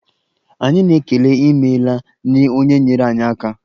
Anyị na-ekele 'imela' nye onye nyeere anyị aka.